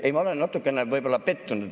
Ei, ma olen natukene võib‑olla pettunud.